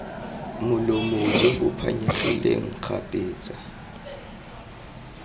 molomo jo bo phanyegileng kgapetsa